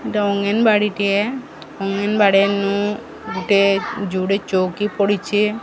ଡଙ୍ଗିନ୍ ବାଡିଟିଏ ଡଙ୍ଗିନ୍ ଗୋଟେ ଚୌକି ପଡ଼ିଚି ।